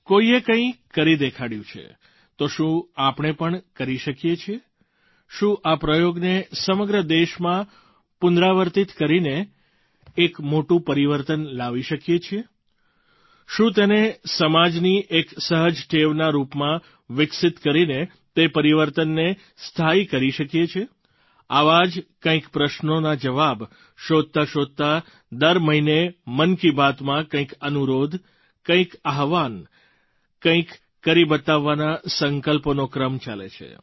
કોઈએ કંઈ કરી દેખાડ્યું છે તો શું આપણે પણ કરી શકીએ છીએ શું આ પ્રયોગને સમગ્ર દેશમાં પુનરાવર્તિત રીને એક મોટું પરિવર્તન લાવી શકીએ છીએ શું તેને સમાજની એક સહજ ટેવના રૂપમાં વિકસિત કરીને તે પરિવર્તનને સ્થાયી કરી શકીએ છીએ આવા જ કંઈક પ્રશ્નોના જવાબ શોધતાંશોધતાં દર મહિને મન કી બાતમાં કંઈક અનુરોધ કંઈક આહ્વાન કંઈક કરી બતાવવાના સંકલ્પનો ક્રમ ચાલે છે